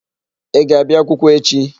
Ị ga-abịa akwụkwọ echi?